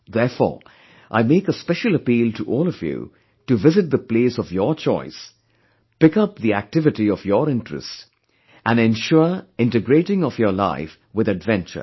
Therefore, I make a special appeal to all of you to visit the place of your choice, pick up the activity of your interest and ensure integrating of your life with adventure